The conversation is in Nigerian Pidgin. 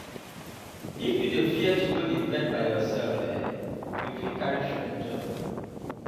if you dey fear to go di event by yourself um you fit carry friend join body